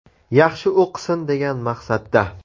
– Yaxshi o‘qisin, degan maqsadda”.